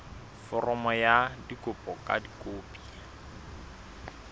foromo ya kopo ka dikopi